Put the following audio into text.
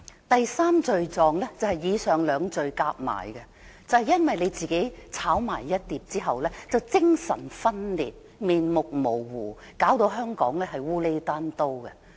第三罪狀就是以上兩罪加起來，就是因為她自己"炒埋一碟"後精神分裂，面目模糊，弄得香港"烏厘單刀"。